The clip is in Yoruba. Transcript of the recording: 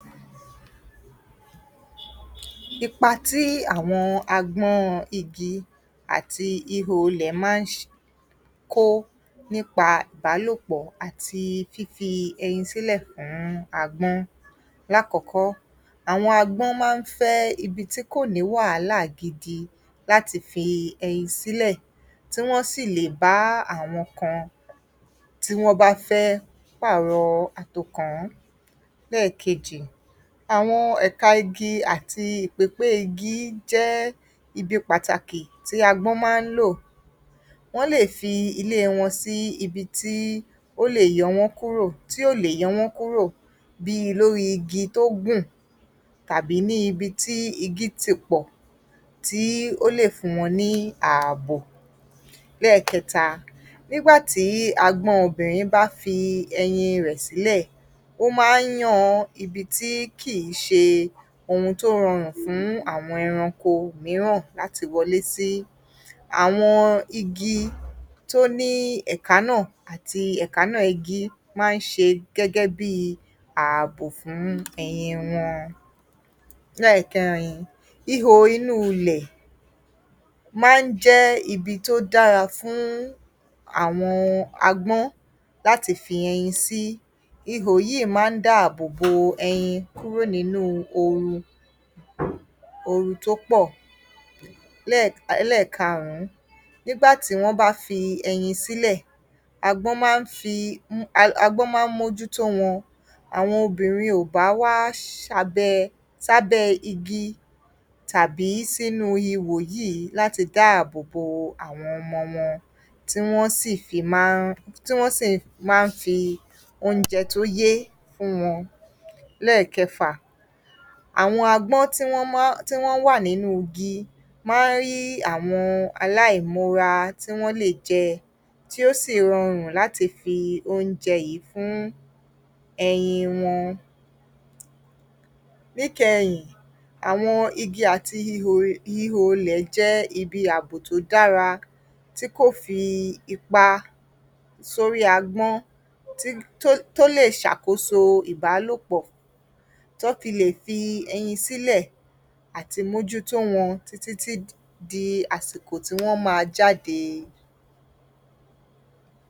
Ipa tí àwọn agbọ́n igi àti ihò ilẹ̀ máa ń ṣe, kó nípa ìbálòpọ̀ àti fífi ẹyin sílẹ̀ fún agbọ́n. Lákọ̀ọ́kọ́, àwọn agbọ́n má ń fẹ́ ibi tí kò ní wàhálà gidi láti fi ẹyin sílẹ̀, tí wọ́ sì lẹ̀ bá àwọn kan tí wọ́n bá fẹ́ pààrọ̀ àtòkán. Lẹ́ẹ̀kejì, àwọn ẹ̀ka igi àti ípépé igi jẹ́ ibi pàtàkì tí agbọ́n máa ń lò. Wọ́n lè fi ilé wọn sí ibi tí ó lè yọ wọ́n kúrò, tí ò lè yọ́ wọ́n kúrò bíi lórí igi tó gùn tàbí ní ibi tí igi ti pọ̀, tí ó lè fún wọn ní ààbò. Lẹ́ẹ̀kẹta, ni´gbà tí agbọ́n obìnrin bá fi ẹyin rẹ̀ sílẹ̀, ó máa ń yan ibi tí kìí ṣe ohun tó rọrùn fún àwọn ẹranko mìíràn láti wọlé sí. Àwọn igi tó ní ẹ̀ka náà, àti ẹ̀káná igi máa ń ṣe gẹ́gẹ́ bíi ààbò fún ẹyin wọn. Lẹ́ẹ̀kẹrin, ihò inú ilẹ̀ máa ń jẹ́ ibi tó dára fún àwọn agbọ́n láti fi ẹyin sí. Ihò yíì máa ń dáàbò bo ẹyin kúrò nínú ooru, ooru tó pọ̀. Lẹ́ẹ̀, ẹlẹ́ẹ̀karùn-ún, nígbà tí wọ́n bá fi ẹyin sílẹ̀, agbọ́n máa ń fi, agbọ́n máa ń mójú tó wọn. Àwọn obìnrin ò bá wá ṣabẹ, sábẹ́ igi tàbí sínú ihò yíìí láti dáàbò bo àwọn ọmọ wọn, tí wọ́ sì fi máa ń, tí wọ́n sì máa ń fi oúnjẹ tó yé fún wọn. Lẹ́ẹ̀kẹfà, àwọn agbọ́n tí wọn máa ń, tí wọ́n wà nínú igi máa ń rí àwọn aláìmọra tí wọ́n lè jẹ, tí ó sì rọrùn láti fi oúnjẹ yíìí fún ẹyin wọn. Níkẹyìn, àwọn igi àti ihò, ihò ilẹ̀ jẹ́ ibi ààbò tó dára, tí kò fi ipa sórí agbọ́n, tí, tó, tó lè ṣàkóso ìbálòpọ̀, tí wọ́n fi lè fi ẹyin sílẹ̀, àti mójútó wọn títí tí di àsìkò tí wọ́n máa jáde.